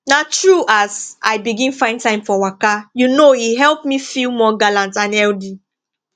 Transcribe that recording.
na true as i begin find time for waka you know e help me feel more gallant and healthy